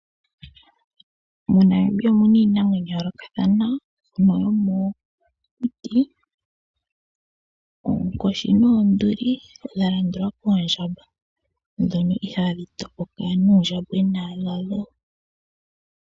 MoNamibia omuna iinamwenyo ya yoolokathana mbyono yomokuti. Oonkoshi noonduli dha landulwa koondjamba ndhono ihaadhi topoka nuundjambwena wadho.